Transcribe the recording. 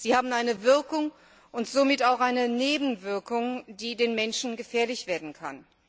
Sie haben eine Wirkung und somit auch eine Nebenwirkung, die den Menschen gefährlich werden kann.